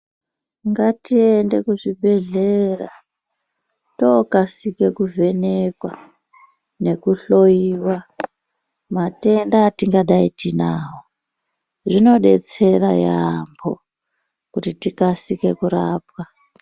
Ngatiende kuzvibhedhlera tookasike kuvhenekwa nekuhloyiwa matenda atingadai tinawo. Zvinodetsera yaambo kuti tikasike kurapwa.